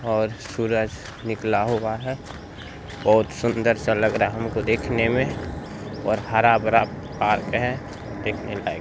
--और सूरज निकला हुआ है और सुंदर सा लग रहा है हमको देखने में और हरा-भरा पार्क हैं देखने लायक--